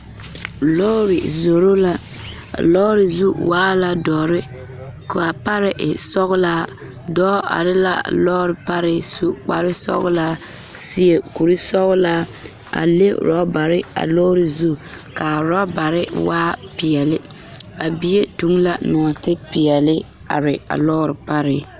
Lɔɔre zoro la a lɔɔre zu waa la dɔre k,a pare e sɔglaa dɔɔ are la lɔɔre pare su kparesɔglaa seɛ kurisɔglaa a le orɔbare a lɔɔre zu ka a orɔbare waa peɛle a bie toŋ la nɔɔtepeɛle are a lɔɔre pare.